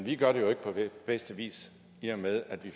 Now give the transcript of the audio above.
vi gør det jo ikke på bedste vis i og med at vi